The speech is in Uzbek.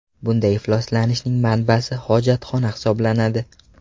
Bunday ifloslanishning manbasi hojatxona hisoblanadi.